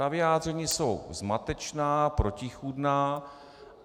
Ta vyjádření jsou zmatečná, protichůdná.